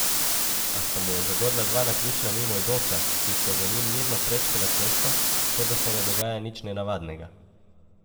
A sta mu jo zagodla dva naključna mimoidoča, ki sta za njim mirno prečkala cesto, kot da se ne dogaja nič nenavadnega.